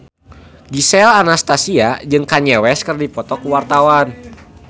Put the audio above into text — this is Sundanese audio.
Gisel Anastasia jeung Kanye West keur dipoto ku wartawan